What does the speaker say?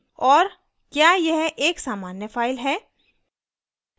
और क्या यह एक सामान्य file है